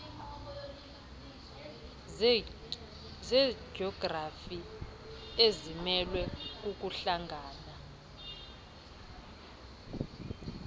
zejografi zimelwe kukuhlangana